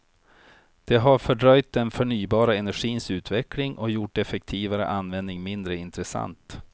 Det har fördröjt den förnybara energins utveckling och gjort effektivare användning mindre intressant.